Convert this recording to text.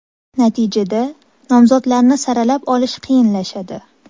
Natijada, nomzodlarni saralab olish qiyinlashadi.